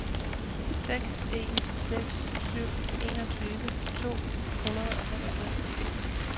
seks en seks syv enogtyve to hundrede og femogtres